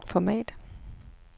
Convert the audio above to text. format